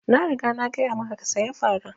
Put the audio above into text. Na riga na gaya maka ka saya fara!